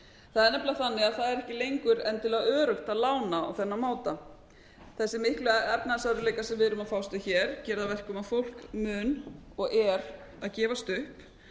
það er nefnilega þannig að það er ekki lengur endilega öruggt að lána á þennan máta þessir miklu efnahagsörðugleikar sem við erum að fást við hér gerir það að verkum að fólk mun og er að gefast upp